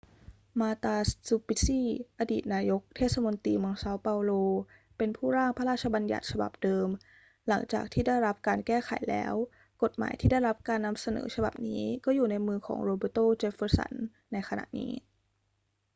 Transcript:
marta suplicy อดีตนายกเทศมนตรีเมืองเซาเปาโล เป็นผู้ร่างพระราชบัญญัติฉบับเดิม หลังจากที่ได้รับการแก้ไขแล้ว กฎหมายที่ได้รับการนำเสนอฉบับนี้ก็อยู่ในมือของ roberto jefferson ในขณะนี้